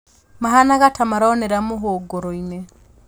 Mahanaga ta maronera mũhunguru-inĩ